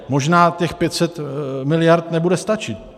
Možná těch 500 miliard nebude stačit.